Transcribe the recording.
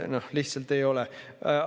Nii lihtsalt ei ole!